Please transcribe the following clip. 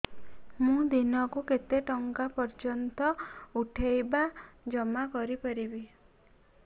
ମୁ ଦିନକୁ କେତେ ଟଙ୍କା ପର୍ଯ୍ୟନ୍ତ ପଠେଇ ବା ଜମା କରି ପାରିବି